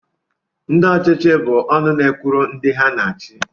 Ndị ọchịchị bụ ọnụ na-ekwuru ndị ha na-achị